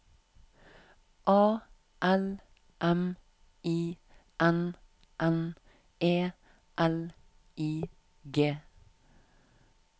A L M I N N E L I G